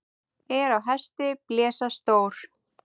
Er á hesti blesa stór.